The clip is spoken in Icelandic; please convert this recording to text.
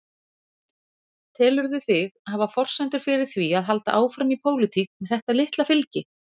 Telurðu þig hafa forsendur fyrir því að halda áfram í pólitík með þetta litla fylgi?